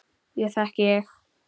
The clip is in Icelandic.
Ég þekki þig